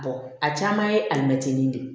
a caman ye alimɛtinin de ye